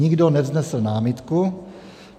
Nikdo nevznesl námitku.